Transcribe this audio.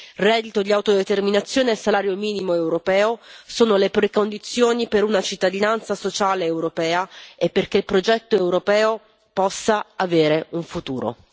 Il reddito di autodeterminazione e il salario minimo europeo sono le precondizioni per una cittadinanza sociale europea e perché il progetto europeo possa avere un futuro.